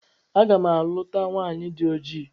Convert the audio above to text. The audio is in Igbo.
A ga m a luta nwaanyị dị oji.